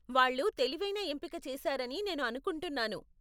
వాళ్ళు తెలివైన ఎంపిక చేసారని నేను అనుకుంటున్నాను.